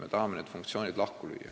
Me tahame need funktsioonid lahku lüüa.